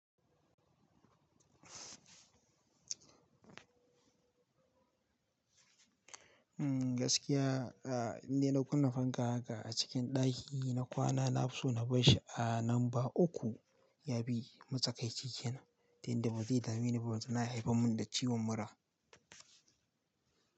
Gaskiya, ina da kunnen fanka ga a cikin daki na kwana nafi so na bashi a namba uku yabi matsakaici kenan, tunda ba zai damu ni ba don yana haifar mun da ciwon mura.